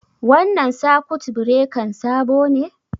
Wannan sakut birekan sabo ne?